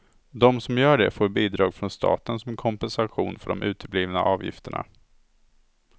De som gör det får bidrag från staten som kompensation för de uteblivna avgifterna.